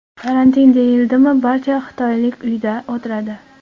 Karantin deyildimi barcha xitoylik uyda o‘tiradi.